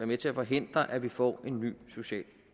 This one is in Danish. med til at forhindre at vi får en ny social